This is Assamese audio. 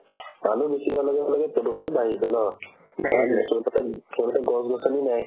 মানুহ বেছি হোৱাৰ লগে লগে প্ৰদূষণো বাঢ়িছে ন so তাতে so তাতে গছ-গছনি নাই